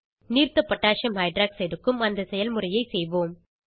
நீர்த்த potassium hydroxide aqகோஹ் க்கும் அந்த செயல்முறையை செய்வோம்